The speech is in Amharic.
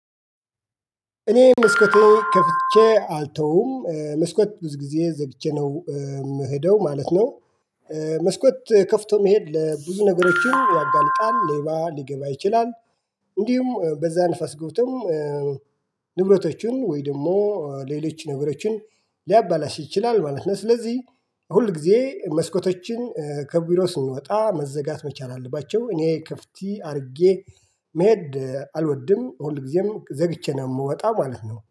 እኔ መስኮት ነው ከፍቼ አልተውም መስኮት ብዙ ጊዜ ዘግቼ ነው የምሄደው ማለት ነው። መስኮት ከፍቶ መሄድ ለብዙ ነገሮችን ያጋልጣል ሌባ ሊገባ ይችላል። እንዲሁም በዛ ንፈስ ገብቶም ንብረቶቹን ወይ ደግሞ ሌሎች ነገሮችን ሊያበላሽ ይችላል ማለት ነው። ስለዚህ ሁል ጊዜ መስኮቶችን ከቢሮ ስንወጣ መዘጋት መቻል አለባቸው። እኔ ክፍት አድርጌ መሄድ አልወድም ሁል ጊዜም ዘግቼ ነው የምወጣው ማለት ነው